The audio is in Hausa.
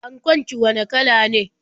Ankon ki wane kala ne?